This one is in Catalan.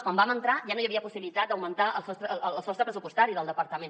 quan vam entrar ja no hi havia possibilitat d’augmentar el sostre pressupostari del departament